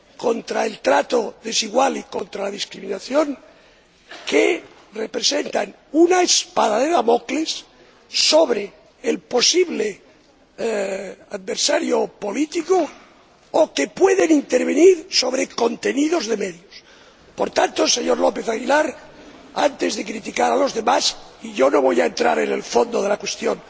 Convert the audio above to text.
contra el trato desigual y contra la discriminación que representan una espada de Damocles sobre el posible adversario o político, o que pueden intervenir sobre contenidos de medios. Por tanto, señor López Aguilar, antes de criticar a los demás, y yo no voy a entrar en el fondo de la cuestión